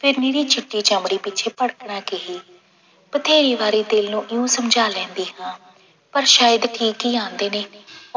ਫਿਰ ਮੇਰੀ ਚਿੱਟੀ ਚਮੜੀ ਪਿੱਛੇ ਭੜਕਣਾ ਕੀ, ਬਥੇਰੀ ਵਾਰੀ ਦਿਲ ਨੂੰ ਇਉਂ ਸਮਝਾ ਲੈਂਦੀ ਹਾਂ, ਪਰ ਸ਼ਾਇਦ ਠੀਕ ਹੀ ਕਹਿੰਦੇ ਨੇ